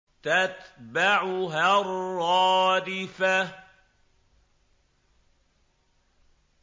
تَتْبَعُهَا الرَّادِفَةُ